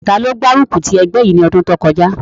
Taló gbárùkù ti ẹgbẹ́ yìí ní ọdún kọjá?